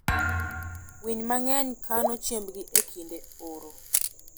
Winy mang'eny kano chiembgi e kinde oro.